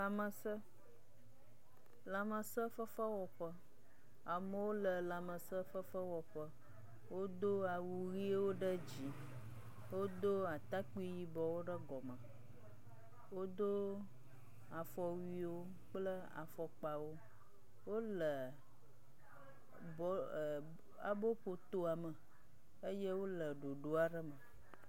Lãmesẽ, lãmesẽfefewɔƒe. Amewo le lãmesẽfefewɔƒe. Wodo awu ʋiwo ɖe dzi. Wodo atakpui yibɔwo ɖe gɔme. Wodo afɔwuiwo kple afɔkpawo. Wole bɔ ɛ aboƒotoame eye wole ɖoɖo aɖe me.